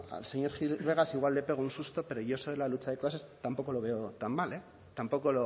al señor gil vegas igual le pego un susto pero yo eso de la lucha de clases tampoco lo veo tan mal tampoco